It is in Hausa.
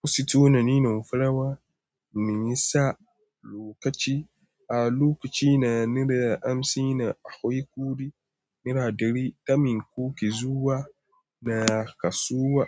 Ku sitona ni nu fulawa muyi sa lokaci. A lokacina na da amsi na akwai kuɗi nera ɗari kamin kuke zuwa da kasuwa.